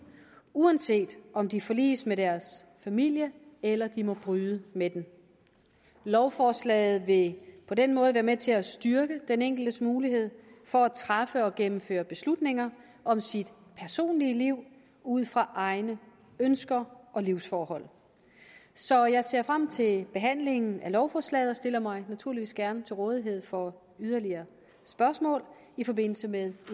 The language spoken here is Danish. uanset om de forliges med deres familie eller de må bryde med den lovforslaget vil på den måde være med til at styrke den enkeltes mulighed for at træffe og gennemføre beslutninger om sit personlige liv ud fra egne ønsker og livsforhold så jeg ser frem til behandlingen af lovforslaget og stiller mig naturligvis gerne til rådighed for yderligere spørgsmål i forbindelse med